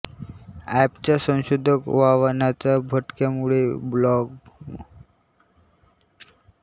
एंपच्या संशोधक आव्हानांच्या भडक्यामुळे ब्लॉगमासिकेआणि ऑनलाइन समर्पित एंप संशोधित सेवाना उधाण आलेले आहे